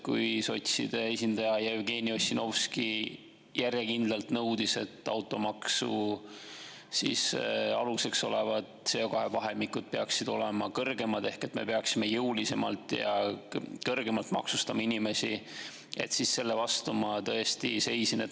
Kui sotside esindaja Jevgeni Ossinovski järjekindlalt nõudis, et automaksu aluseks olevad CO2 vahemikud peaksid olema kõrgemad ehk me peaksime jõulisemalt ja kõrgemalt inimesi maksustama, siis selle vastu ma tõesti seisin.